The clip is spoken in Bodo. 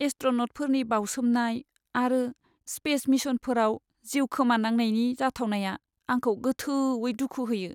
एस्ट्र'न'टफोरनि बावसोमनाय आरो स्पेस मिशनफोराव जिउ खोमानांनायनि जाथावनाया आंखौ गोथौवै दुखु होयो।